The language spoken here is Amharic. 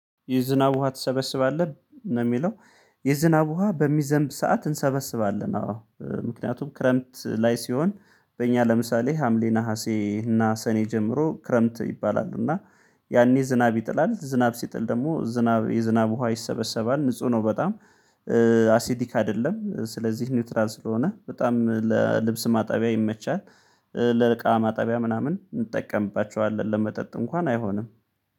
የዝናብ ውሃ ትሰበስባለህ ነው የሚለው? የዝናብ ውሃ በሚዘንብ ሰዓት እንሰበስባለን አዎ። ምክንያቱም ክረምት ላይ ሲሆን በእኛ ለምሳሌ ሀምሌ ነሀሴ እና ሰኔ ጀምሮ ክረምት ይባላል እና ያኔ ዝናብ ይጥላል ዝናብ ሲጥል ደግሞ ዝናብ የዝናብ ውሃ ይሰበሰባል ንጹህ ነው በጣም አሲዲክ አይደለም። ስለዚህ ኒውትራል ስለሆነ በጣም ለልብስ ማጠቢያ ይመቻል። ለእቃ ማጠቢያ ምናምን እንጠቀምባቸዋለን ለመጠጥ እንኳን አይሆንም